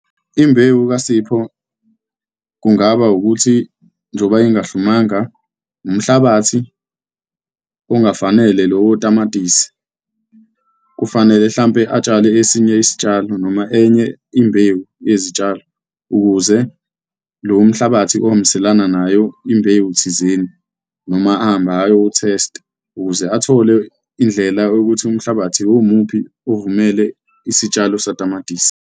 Imbewu kaSipho kungaba ukuthi njengoba ingahlumanga, umhlabathi ongafanele lowotamatisi, kufanele hlampe atshale esinye isitshalo noma enye imbewu yezitshalo, ukuze lo mhlabathi ohambiselana nayo imbewu thizeni noma ahambe ayothesta ukuze athole indlela yokuthi umhlabathi uwumuphi ovumele isitshalo satamatisi.